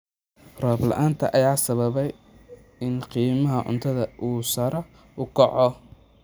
Roob la�aanta ayaa sababtay in qiimaha cuntada uu sare u kaco.